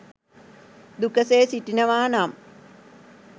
දුකසේ සිටිනවා නම්